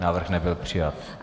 Návrh nebyl přijat.